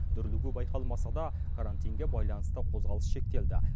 дүрлігу байқалмаса да карантинге байланысты қозғалыс шектелді